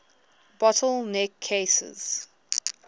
bottle neck cases